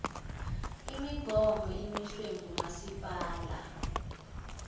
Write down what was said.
imigomo emiswe ngumasipala